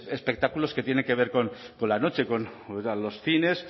espectáculos que tienen que ver con la noche los cines